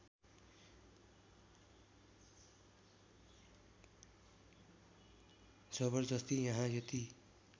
जबर्जस्ती यहाँ यति